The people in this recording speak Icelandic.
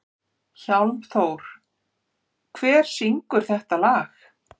Hjálmþór, hver syngur þetta lag?